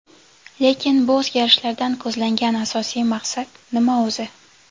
Lekin bu o‘zgarishlardan ko‘zlangan asosiy maqsad nima o‘zi?